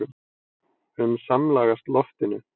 um samlagast loftinu.